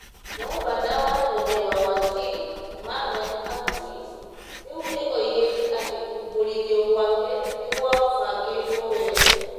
Ngavana wa tene wa Wajir, Mohamed Abdi, rĩu nĩ oigĩte atĩ kũmbũrithio gwake nĩ "gwabangĩtwo wega",